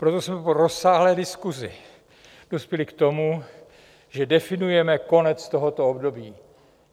Proto jsme po rozsáhlé diskusi dospěli k tomu, že definujeme konec tohoto období.